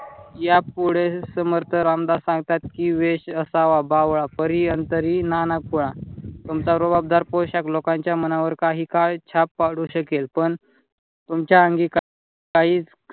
या पुढे समर्थ रामदास सांगतात. वेष असावा बावळा परी अंतरी नाना कुळा. तुमचा रुबाबदार पोषाक लोकांच्या मनावर काही काळ छाप पडू शकेल पण तुमच्या अंगी काहीच